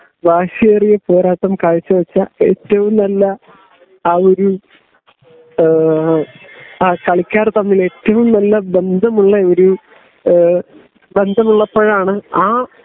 വാശിയേറിയ പോരാട്ടം കാഴ്ച വച്ച ഏറ്റവും നല്ല ആ ഒരു ഏ കളിക്കാർ തമ്മിലുൽ ഏറ്റവും നല്ല ബന്ധമുള്ള ബന്ധമുള്ളപ്പോഴാണ് ആ